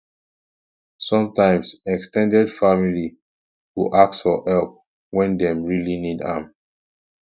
sometimes ex ten ded family go ask for help when dem really need am